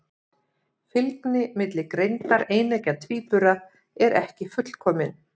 Fylgni milli greindar eineggja tvíbura er ekki fullkomin.